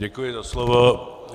Děkuji za slovo.